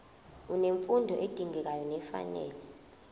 unemfundo edingekayo nefanele